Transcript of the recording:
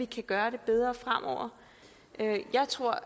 kan gøre det bedre jeg tror